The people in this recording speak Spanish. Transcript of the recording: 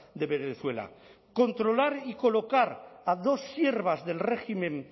de venezuela controlar y colocar a dos siervas del régimen